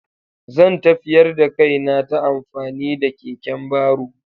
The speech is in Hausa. Zan tafiyar da kaina ta amfani da keken baro.